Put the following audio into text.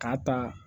K'a ta